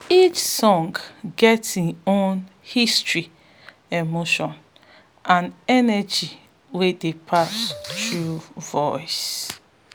each song get im own history emotion and energy wey dey pass through voices